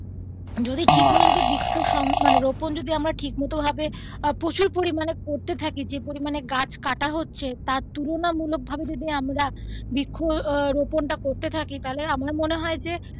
যদি ঠিকমতো যদি বৃক্ষরোপন মানে রোপন যদি আমরা ঠিক মতো ভাবে প্রচুর পরিমানে করতে থাকি মানে যে পরিমানে গাছ কাটা হচ্ছে তার তুলনামূলক ভাবে যদি আমরা বৃক্ষ রোপন টা করতে থাকি তাহলে আমার মনে হয় যে.